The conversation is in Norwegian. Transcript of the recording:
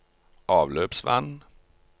avløpsvann